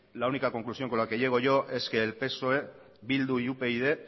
la única conclusión con la que llego yo es que el psoe bildu y upyd